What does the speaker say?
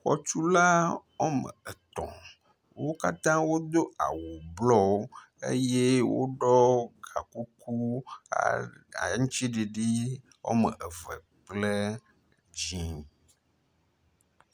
Xɔtula woametɔ̃. Wo katã wodo awu blɔwo eye woɖɔ gakuku aŋtsiɖiɖi woameve kple dzĩ.